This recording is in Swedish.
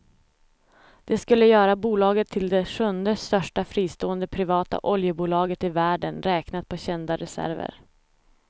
Det skulle göra bolaget till det sjunde största fristående privata oljebolaget i världen räknat på kända reserver.